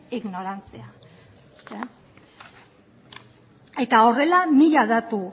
ignorantzia eta horrela mila datu